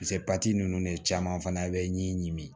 ninnu de caman fana bɛ ɲinini